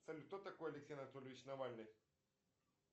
салют кто такой алексей анатольевич навальный